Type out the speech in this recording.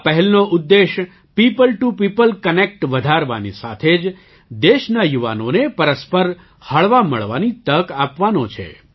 આ પહેલનો ઉદ્દેશ્ય પીઓપલ ટીઓ પીઓપલ કનેક્ટ વધારવાની સાથે જ દેશના યુવાનોને પરસ્પર હળવામળવાની તક આપવાનો છે